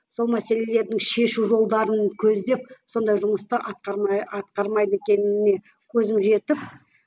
сол мәселелердің шешу жолдарын көздеп сондай жұмысты атқармай атқармайды екеніне көзім жетіп